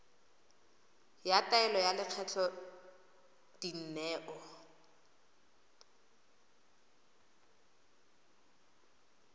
ya taelo ya lekgetho dineo